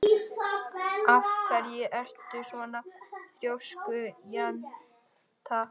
Af hverju ertu svona þrjóskur, Jenetta?